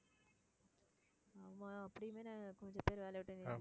ஆமா அப்படியுமே கொஞ்சம் பேரு வேலையை விட்டு நின்~